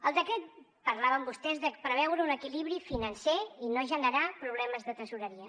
al decret parlaven vostès de preveure un equilibri financer i no generar problemes de tresoreria